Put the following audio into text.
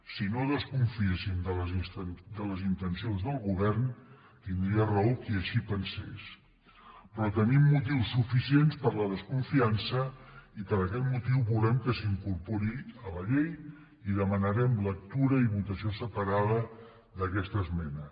si no desconfiéssim de les intencions del govern tindria raó qui així pensés però tenim motius suficients per a la desconfiança i per aquest motiu volem que s’incorpori a la llei i demanarem lectura i votació separada d’aquesta esmena